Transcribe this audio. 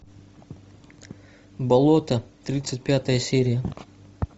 болото тридцать пятая серия